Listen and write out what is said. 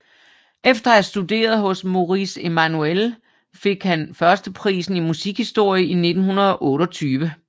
Efter at have studeret hos Maurice Emmanuel fik han førsteprisen i musikhistorie i 1928